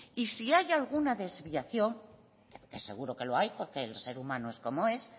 y si hay alguna desviación que seguro que lo hay porque el ser humano es como es